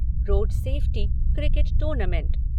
road safety cricket tournament